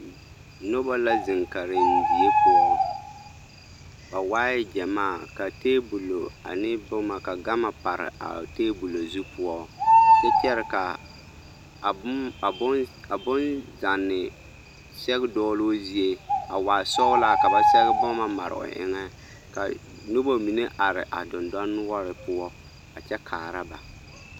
Noba la zeŋ karendie poɔ, ba waa gyɛmaa ka teebolo ane boma ka gama pare a teebolo zu poɔ kyɛ kyɛre ka a bonzanne sɛge dɔgeloo zie a waa sɔgelaa ka ba sɛge boma mare o eŋɛ ka noba mine are a dendɔnoɔre poɔ a kyɛ kaara ba.